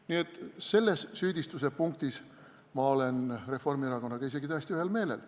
Nii et selles süüdistuse punktis olen ma Reformierakonnaga isegi täiesti ühel meelel.